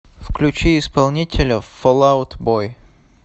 включи исполнителя фол аут бой